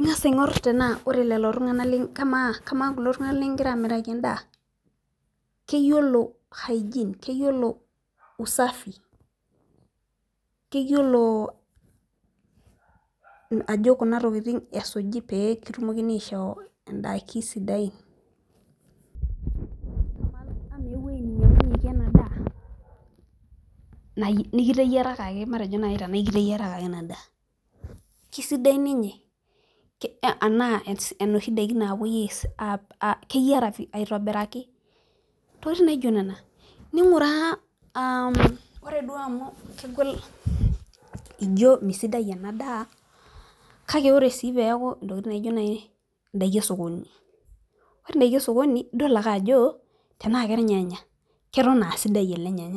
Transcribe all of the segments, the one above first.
ing'as aingor tenaa ore lelo tunganak kama kulo tunganak likigira amiraki edaa keyiolo usafi, keyiolo ajo ore kuna tokitin esuji pee kitumokini aishoo idaikin sidain, ama eweji nikiteyiarakaki matejo duoo naji kiteyiarakaki ena daa kesidai keyiara aitobiraki, ore duo amu kegol ijo misidai ena daa kake tenaa kedakin esokoni ,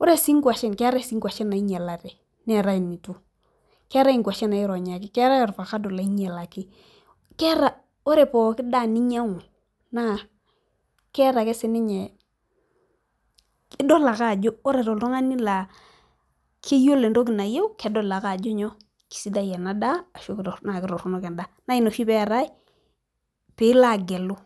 ore sii inkwashen keetae inkwashen naingialate neetae initu, keeta ovakado loironyaki, keta ore pooki daa ninyang'u naa keeta ajo ore oltungani laa keyiolo entoki nayieu naa ina oshi pee ilo agelu.